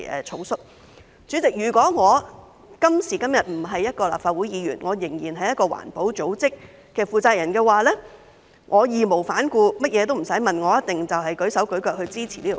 代理主席，如果我今時今日並非一名立法會議員，而仍然是一個環保組織的負責人的話，我會義無反顧，甚麼也不用問，一定會舉手舉腳支持《條例草案》。